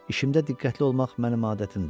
İşində diqqətli olmaq mənim adətimdir.